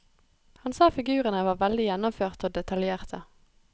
Han sa figurene var veldig gjennomførte og detaljerte.